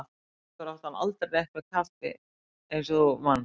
Sjálfur átti hann aldrei neitt með kaffi eins og þú manst.